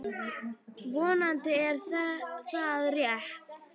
Vonandi er það rétt.